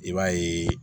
I b'a ye